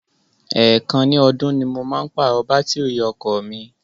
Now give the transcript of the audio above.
Èèkàn ní ọdún ni mo máa ń pàrọ̀ bátìrì ọkọ̀ mi.